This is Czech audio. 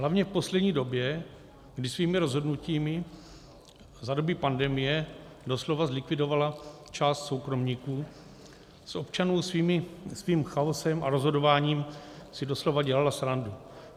Hlavně v poslední době, kdy svými rozhodnutím za doby pandemie doslova zlikvidovala část soukromníků, z občanů svým chaosem a rozhodováním si doslova dělala srandu.